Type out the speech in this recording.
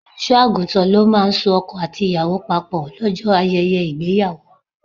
Olùṣọ́-àgùntàn ló máa ń so ọkọ àti ìyàwó papò lọ́jọ́ ayẹyẹ ìgbéyàwó.